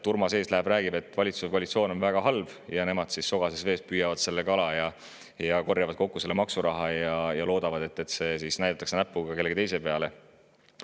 Urmas läheb ees, räägib, et valitsus ja koalitsioon on väga halvad, ning nemad püüavad sogases vees kala, korjavad kokku maksuraha, ja loodavad, et näidatakse näpuga kellegi teise peale.